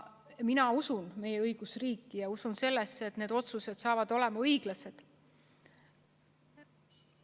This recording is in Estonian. Mina usun meie õigusriiki ja ma usun, et need otsused saavad olema õiglased.